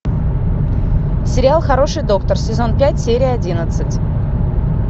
сериал хороший доктор сезон пять серия одиннадцать